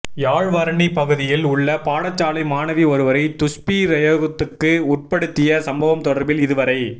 யாழ் வரணி பகுதியில் உள்ள பாடசாலை மாணவி ஒருவரை துஷ்பிரயோகத்துக்கு உட்படுத்திய சம்பவம் தொடர்பில் இதுவரை